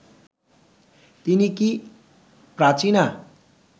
তিনি কি প্রাচীনা